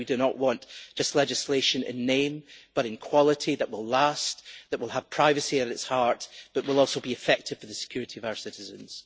We do not want legislation just in name, but in quality that will last and that will have privacy at its heart, but which will also be effective for the security of our citizens.